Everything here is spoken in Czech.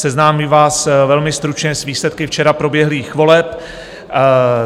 Seznámím vás velmi stručně s výsledky včera proběhlých voleb.